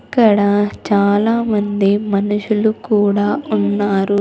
ఇక్కడ చాలా మంది మనుషులు కూడా ఉన్నారు.